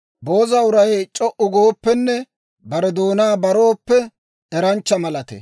Booza uray c'o"u gooppenne bare doonaa barooppe, eranchcha malatee.